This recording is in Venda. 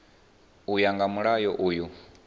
u ya nga mulayo uyu